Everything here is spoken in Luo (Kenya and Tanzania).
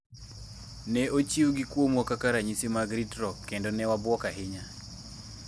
Ne ochiwgi kuomwa kaka ranyisi mag ritruok, kendo newabuok ahinya